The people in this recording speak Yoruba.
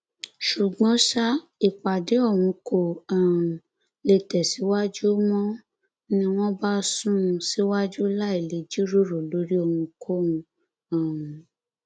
ṣùgbọn ṣá ìpàdé ọhún kó um lè tẹsíwájú mò ń ní wọn bá sún un síwájú láì lè jíròrò lórí ohunkóhun um